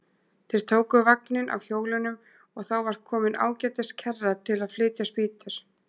Þeir tóku vagninn af hjólunum og þá var komin ágætis kerra til að flytja spýtur.